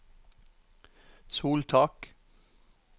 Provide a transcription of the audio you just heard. soltak